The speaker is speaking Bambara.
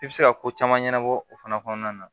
I bɛ se ka ko caman ɲɛnabɔ o fana kɔnɔna na